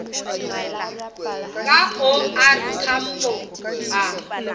ka o r tambo a